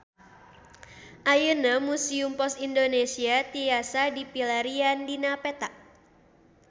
Ayeuna Museum Pos Indonesia tiasa dipilarian dina peta